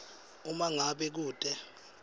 uma ngabe kute